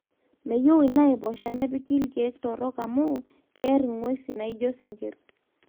meyieu inaipoosha nepiki ilkiek torok amu keer nguesi naijo sinkirr